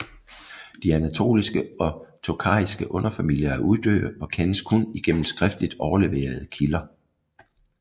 De anatolske og tokhariske underfamilier er uddøde og kendes kun igennem skriftligt overleverede kilder